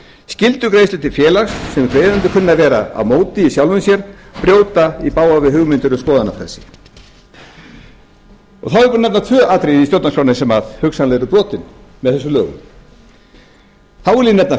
skyldugreiðslur til félags sem greiðendur kunna að vera á móti í sjálfu sér brjóta í bága við hugmyndir um skoðanafrelsi þá er ég búinn að nefna tvö atriði í stjórnarskránni sem hugsanlega eru brotin með þessum lögum þá vil ég nefna